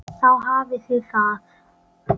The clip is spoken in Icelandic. Og þá hafiði það!